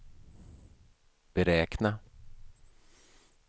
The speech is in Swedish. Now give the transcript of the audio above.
beräkna